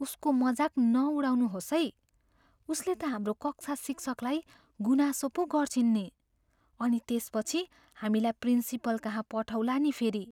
उसको मजाक नउडाउनुहोस् है । उसले त हाम्रो कक्षा शिक्षकलाई गुनासो पो गर्छिन् नि अनि त्यसपछि हामीलाई प्रिन्सिपलकहाँ पठाउला नि फेरि।